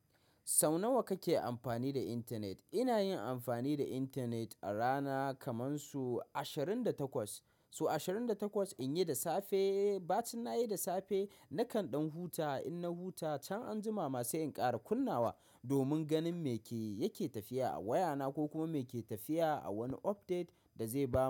Sau nawa kake amfani da intanet? Ina yin amfani da intanet a rana kaman su ashirin da takwas. So ashirin da takwas in yi da safe, ba cin na yi da safe, nakan ɗan huta. In na huta can anjima masu in ƙara kunnawa domin ganin me ke yake tafiya a wayana ko kuma me yake tafiya a wani update da zai ba mu.